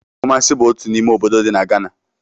Kumasi bụ otu n'ime obodo dị na Ghana